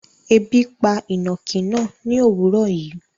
Ẹbi pa inákì náà ni owuró yìí